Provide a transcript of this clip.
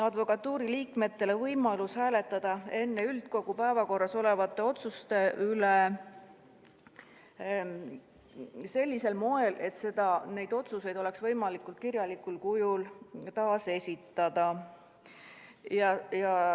Advokatuuri liikmetele antakse võimalus hääletada enne üldkogu päevakorras olevate otsuste üle sellisel moel, et neid otsuseid oleks võimalik kirjalikul kujul taasesitada.